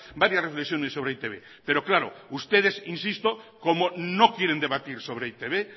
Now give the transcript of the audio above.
varias reflexiones sobre e i te be pero claro ustedes insisto como no quieren debatir sobre e i te be